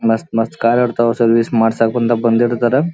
ಮಸ್ತ್ ಮಸ್ತ್ ಕಾರ್ ಇರ್ತಾವ ಸರ್ವಿಸ್ ಮಾಡ್ಸಕ್ಅಂತ ಬಂದಿರ್ತಾರ --